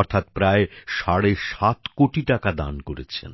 অর্থাৎ প্রায় সাড়ে সাত কোটি টাকা দান করেছেন